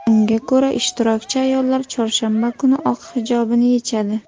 Unga ko‘ra, ishtirokchi ayollar chorshanba kuni oq hijobini yechadi.